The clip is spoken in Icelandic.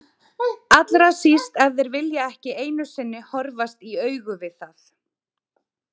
Allra síst ef þeir vilja ekki einu sinni horfast í augu við það.